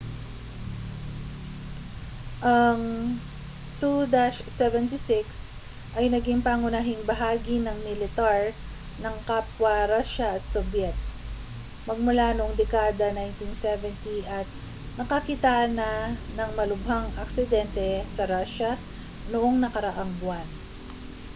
ang il-76 ay naging pangunahing bahagi ng militar ng kapwa rusya at sobyet magmula noong dekada 1970 at nakakitaan na ng malubhang aksidente sa rusya noong nakaraang buwan